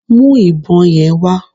Mú ìbọn yẹn wá